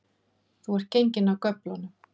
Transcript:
Þú ert genginn af göflunum